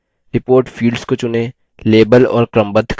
report fields को चुनें label और क्रमबद्ध करें